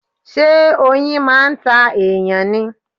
Ṣé oyin máà ń ta èyàn ni?